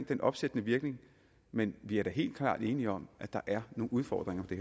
den opsættende virkning men vi er da helt klart enige om at der er nogle udfordringer